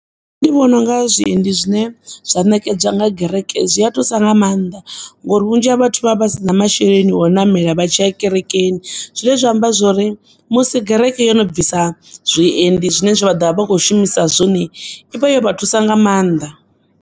Ndi vhona unga zwiendi zwine zwa nekedzwa nga gereke zwia thusa nga maanḓa, ngori vhunzhi ha vhathu vha vha vhasina masheleni o namela vhatshiya kerekeni, zwine zwa amba zwori musi gereke yono bvisa zwiendi zwine vha ḓovha vha khou shumisa zwone, i vha yo vha thusa nga maanḓa.